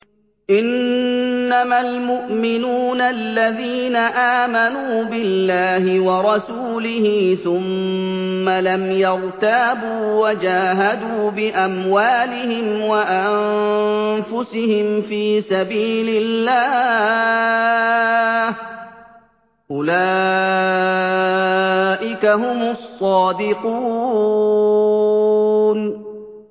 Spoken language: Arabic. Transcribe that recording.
إِنَّمَا الْمُؤْمِنُونَ الَّذِينَ آمَنُوا بِاللَّهِ وَرَسُولِهِ ثُمَّ لَمْ يَرْتَابُوا وَجَاهَدُوا بِأَمْوَالِهِمْ وَأَنفُسِهِمْ فِي سَبِيلِ اللَّهِ ۚ أُولَٰئِكَ هُمُ الصَّادِقُونَ